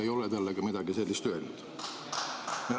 Ei ole talle ka midagi sellist öelnud.